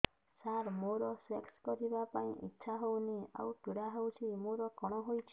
ସାର ମୋର ସେକ୍ସ କରିବା ପାଇଁ ଇଚ୍ଛା ହଉନି ଆଉ ପୀଡା ହଉଚି ମୋର କଣ ହେଇଛି